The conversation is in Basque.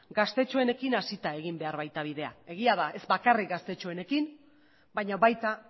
gaztetxoen hasita egin behar baita bidea egia da ez bakarrik gaztetxoenekin baina baita